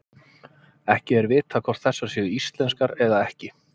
Ekki er vitað hvort þessar séu íslenskar eða ekki.